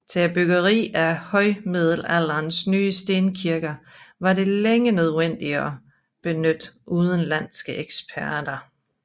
Til byggeriet af højmiddelalderens nye stenkirker var det længe nødvendigt at benytte udenlandske eksperter